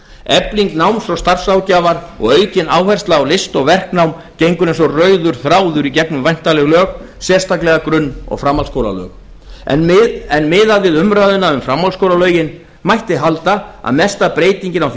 efling náms og starfsráðgjafar og aukin áhersla á list og verknám gengur eins og rauður þráður í gegnum væntanleg lög sérstaklega grunn og framhaldsskólalög en miðað við umræðuna um framhaldsskólalögin mætti halda að mesta breytingin á því